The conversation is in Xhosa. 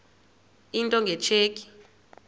into nge tsheki